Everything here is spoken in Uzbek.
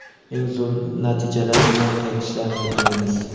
eng zo‘r natijalar bilan qaytishlarini tilaymiz!.